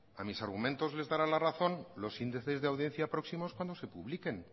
a mis argumentos les darán la razón los índices de audiencia próximos cuando se publiquen